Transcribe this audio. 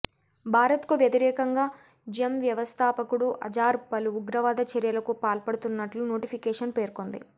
భారత్కు వ్యతిరేకంగా జెమ్ వ్యవస్థాపకుడు అజార్ పలు ఉగ్రవాద చర్యలకు పాల్పడుతున్నట్లు నోటిఫికేషన్ పేర్కొంది